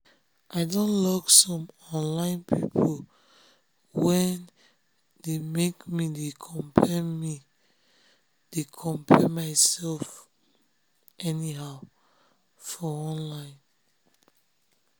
i don lock some online people wey dey um make me dey compare me dey compare myself anyhow um for online.